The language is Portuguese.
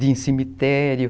De ir em cemitério.